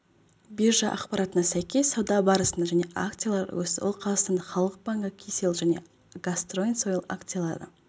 биржа ақпаратына сәйкес сауда барысында және акциялары өсті ал қазақстан халық банкі кселл және қазтрансойл акциялары